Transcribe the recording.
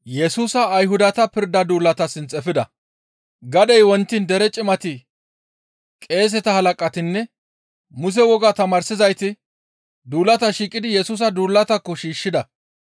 Gadey wontiin dere Cimati, qeeseta halaqatinne Muse wogaa tamaarsizayti duulata shiiqidi Yesusa duulatakko shiishshida.